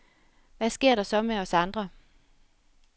Hvad sker der så med os andre?.